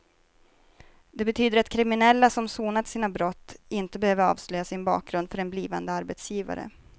Det betyder att kriminella som sonat sina brott inte behöver avslöja sin bakgrund för en blivande arbetsgivare.